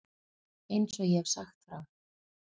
Eins og ég hef sagt frá.